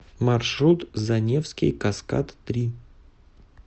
маршрут заневский каскад три